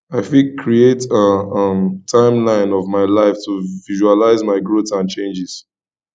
i fit create a um timeline of my life to visualize my growth and changes